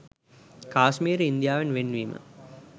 කාශ්මීරය ඉන්දියාවෙන් වෙන් වීම